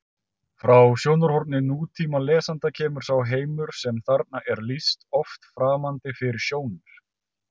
Frá sjónarhorni nútímalesanda kemur sá heimur sem þarna er lýst oft framandi fyrir sjónir: